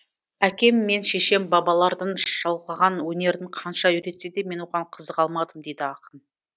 әкем мен шешем бабалардың жалғаған өнерін қанша үйретсе де мен оған қызыға алмадым дейді ақын